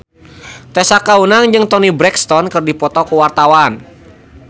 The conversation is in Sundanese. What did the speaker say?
Tessa Kaunang jeung Toni Brexton keur dipoto ku wartawan